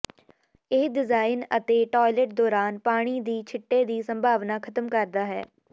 ਇਹ ਡਿਜ਼ਾਇਨ ਅਤੇਟਾੱਇਲਟ ਦੌਰਾਨ ਪਾਣੀ ਦੀ ਛਿੱਟੇ ਦੀ ਸੰਭਾਵਨਾ ਖਤਮ ਕਰਦਾ ਹੈ